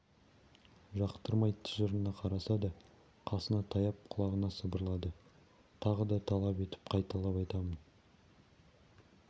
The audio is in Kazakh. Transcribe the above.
жақтырмай тыжырына қараса да қасына таяп құлағына сыбырлады тағы да талап етіп қайталап айтамын